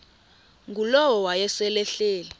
ngulowo wayesel ehleli